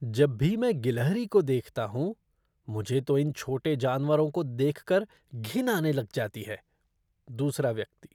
जब भी मैं गिलहरी को देखता हूँ, मुझ तो इन छोटे जानवरों को देखकर घिन आने लग जाती है। दूसरा व्यक्ति